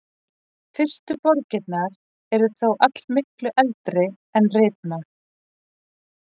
Fyrstu borgirnar eru þó allmiklu eldri en ritmál.